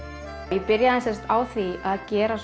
ég byrjaði á því að gera